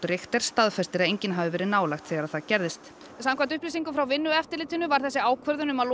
Richter staðfestir að enginn hafi verið nálægt þegar það gerðist samkvæmt upplýsingum frá Vinnueftirlitinu var ákvörðun um að